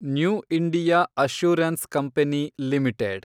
new India assurance company limited